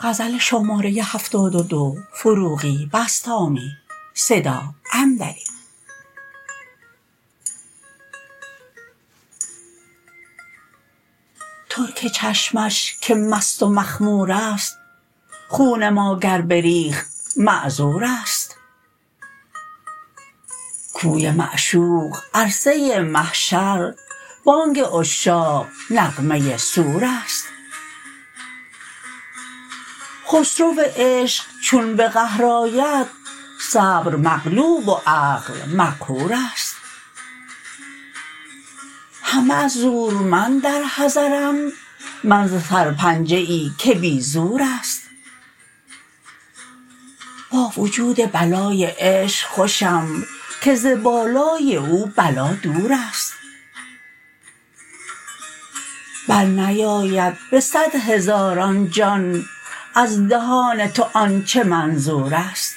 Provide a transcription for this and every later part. ترک چشمش که مست و مخمور است خون ما گر بریخت معذور است کوی معشوق عرصه محشر بانگ عشاق نغمه صور است خسرو عشق چون به قهر آید صبر مغلوب و عقل مقهور است همه از زورمند در حذرند من ز سرپنجه ای که بی زور است با وجود بلای عشق خوشم که ز بالای او بلا دور است برنیاید به صد هزاران جان از دهان تو آن چه منظور است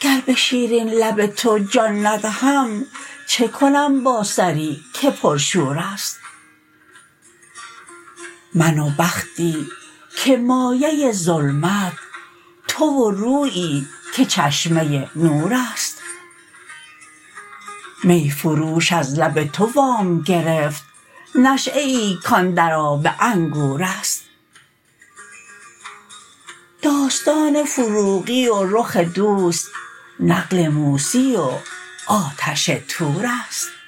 گر به شیرین لب تو جان ندهم چه کنم با سری که پر شور است من و بختی که مایه ظلمت تو و رویی که چشمه نور است می فروش از لب تو وام گرفت نشیه ای کان در آب انگور است داستان فروغی و رخ دوست نقل موسی و آتش طور است